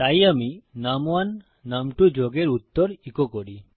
তাই আমি নুম1 নুম2 যোগের উত্তর ইকো করি